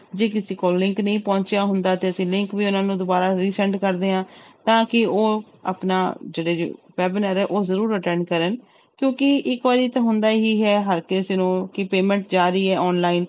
ਜੇ ਕਿਸੇ ਕੋਲ link ਨਹੀਂ ਪਹੁੰਚਿਆ ਹੁੰਦਾ ਤੇ ਅਸੀਂ link ਵੀ ਉਹਨਾਂ ਦੀ ਦੁਬਾਰਾ resend ਕਰਦੇ ਹਾਂ ਤਾਂ ਕਿ ਉਹ ਆਪਣਾ ਜਿਹੜੇ webinar ਹੈ ਉਹ ਜ਼ਰੂਰ attend ਕਰਨ ਕਿਉਂਕਿ ਇੱਕ ਵਾਰੀ ਤਾਂ ਹੁੰਦਾ ਹੀ ਹੈ ਹਰ ਕਿਸੇ ਨੂੰ ਕਿ payment ਜਾ ਰਹੀ ਹੈ online